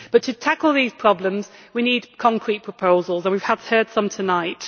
To tackle these problems, we need concrete proposals and we have heard some tonight.